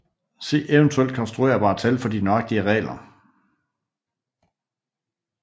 Se eventuelt konstruerbare tal for de nøjagtige regler